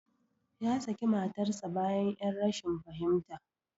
Ya saki matarsa ​​bayan 'yar rashin fahimta.